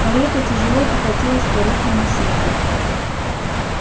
карета тяжело покатилась по рыхлому снегу